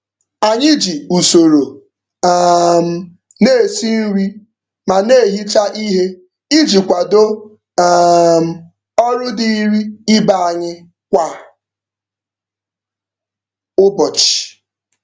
Anyị ji usoro um na-esi nri ma na-ehicha ihe iji kwado um ọrụ dịịrị ibe anyị kwa ụbọchị.